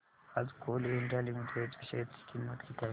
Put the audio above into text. आज Coal India Limited च्या share ची किंमत किती आहे